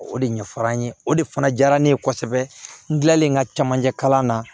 O de ɲɛfɔr'an ye o de fana diyara ne ye kosɛbɛ n kilalen ka camancɛ kalan na